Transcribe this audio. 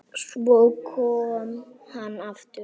Svo kom hann aftur.